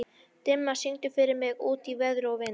Dimma, syngdu fyrir mig „Út í veður og vind“.